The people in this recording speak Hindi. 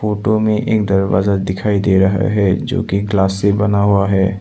फोटो में एक दरवाजा दिखाई दे रहा है जो की ग्लास से बना हुआ है।